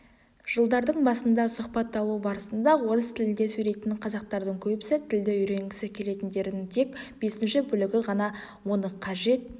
жылдардың басында сұхбат алу барысында орыс тілінде сөйлейтін қазақтардың көбісі тілді үйренгісі келетіндерін тек бесінші бөлігі ғана оны қажет